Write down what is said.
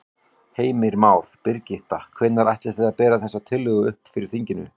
Heimir Már: Birgitta, hvenær ætlið þið að bera þessa tillögu upp fyrir þinginu?